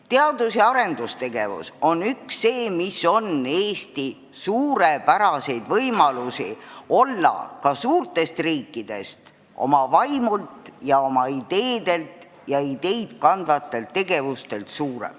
Teadus- ja arendustegevus annab Eestile suurepärase võimaluse olla suur riik – olla suur riik oma vaimult ja oma ideedelt ja ideid kandvatelt tegevustelt.